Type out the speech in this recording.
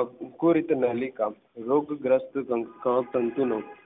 આકૃતિ નલિકામાં લોક ગ્રસ્ત તંતુનો